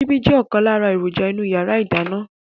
Síbi jẹ́ ọ̀kan lára èròjà inú yàrá ìdáná